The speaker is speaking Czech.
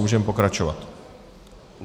Můžeme pokračovat.